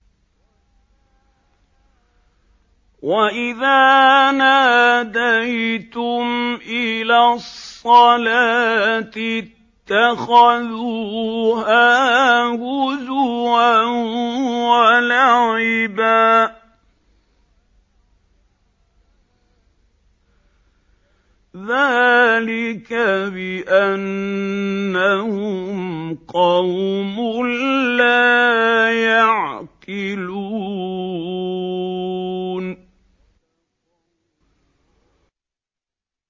وَإِذَا نَادَيْتُمْ إِلَى الصَّلَاةِ اتَّخَذُوهَا هُزُوًا وَلَعِبًا ۚ ذَٰلِكَ بِأَنَّهُمْ قَوْمٌ لَّا يَعْقِلُونَ